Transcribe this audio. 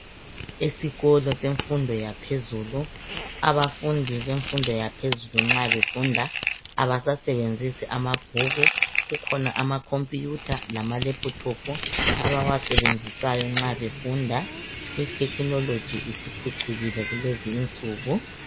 Esikolo semfundo yaphezulu abafundi bemfundo yaphezulu nxa befunda abasasebenzisi amabhuku kukhona ama computer lamalaptop abawasebenzisayo nxa befunda .I technology isiphucukile kulezi insuku